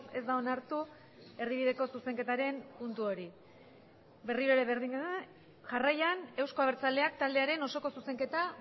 ez da onartu erdibideko zuzenketaren puntu hori berriro ere berdina da jarraian euzko abertzaleak taldearen osoko zuzenketa